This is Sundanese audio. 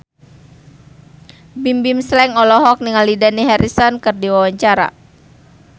Bimbim Slank olohok ningali Dani Harrison keur diwawancara